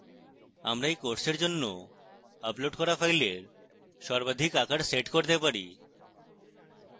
আমরা we কোর্সের জন্য আপলোড করা files সর্বাধিক আকার set করতে পারি